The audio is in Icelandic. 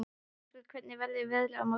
Hafberg, hvernig verður veðrið á morgun?